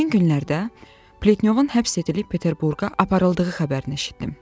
Həmin günlərdə Pletnyovun həbs edilib Peterburqa aparıldığı xəbərini eşitdim.